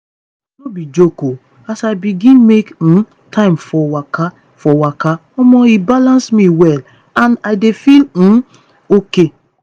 no be joke o as i begin make um time for waka for waka omo e balance me well and i dey feel um okay.